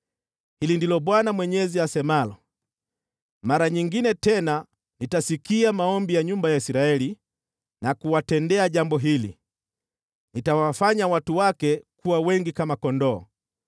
“Hili ndilo Bwana Mwenyezi asemalo: Mara nyingine tena nitasikia maombi ya nyumba ya Israeli na kuwatendea jambo hili: Nitawafanya watu wake kuwa wengi kama kondoo,